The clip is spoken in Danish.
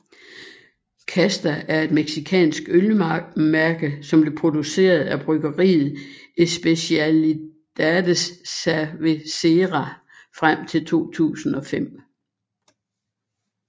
Casta er et mexikansk ølmærke som blev produceret af bryggeriet Especialidades Cervecera frem til 2005